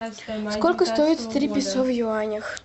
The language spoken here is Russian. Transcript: сколько стоит три песо в юанях